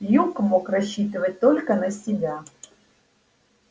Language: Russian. юг мог рассчитывать только на себя